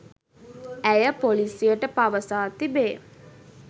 ඇය පොලීසියට පවසා තිබේ.